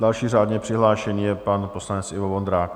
Další řádně přihlášený je pan poslanec Ivo Vondrák.